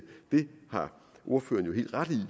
har ordføreren jo helt ret i